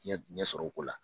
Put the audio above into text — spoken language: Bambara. Ɲɛ ɲɛsɔrɔ o ko la.